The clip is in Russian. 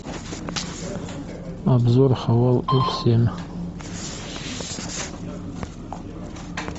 обзор хавал ф семь